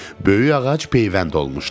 Böyük ağac peyvənd olmuşdu.